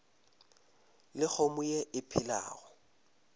le kgomo ye e phelago